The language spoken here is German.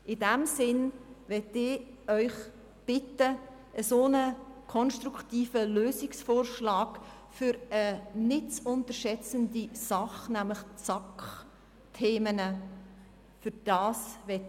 In diesem Sinn möchte ich Sie bitten, diesen konstruktiven Lösungsvorschlag für eine nicht zu unterschätzende Sache, nämlich die SAK, zu unterstützen.